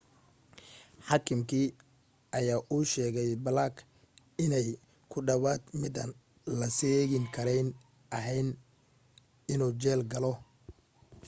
xaakimkii ayaa u sheegay blake inay ku dhawaad midaan la seegin karayn ahayd inuu jeel galo